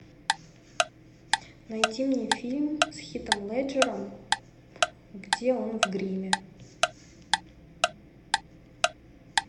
найди мне фильм с хитом леджером где он в гриме